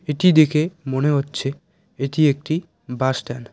এটি দেখে মনে হচ্ছে এটি একটি বাস স্ট্যান্ড ।